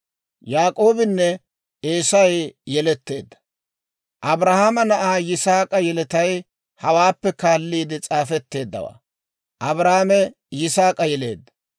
Abrahaama na'aa Yisaak'a yeletay hawaappe kaaliide s'aafetteeddawaa. Abrahaame Yisaak'a yeleedda.